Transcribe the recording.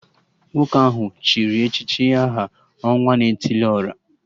Nwoke ahụ chịrị echichi aha 'Ọnwa na etili ora'